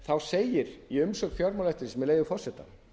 það segir í umsögn fjármálaeftirlitsins með leyfi forseta